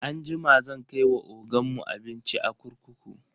Anjima zan kai wa ogan mu abinci a kurkuku.